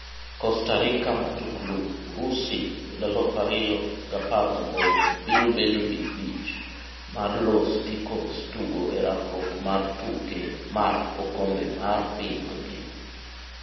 Costa Rica Matuklu: Urusi 2018 biro bedo di bich mar Los Ticos tugo e rakruok mar tuke mar okombe mar piny ngima.